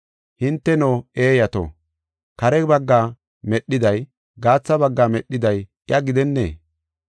Hinteno, eeyato, kare bagga medhiday, gaatha bagga medhiday iya gidennee?